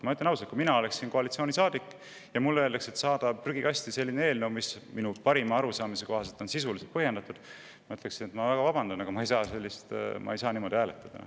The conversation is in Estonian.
Ma ütlen ausalt, et kui mina oleksin koalitsioonisaadik ja mulle öeldaks, et ma pean saatma prügikasti eelnõu, mis minu parima arusaamise kohaselt on sisuliselt põhjendatud, siis ma ütleksin: "Vabandage väga, aga ma ei saa niimoodi hääletada.